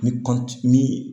Ni ni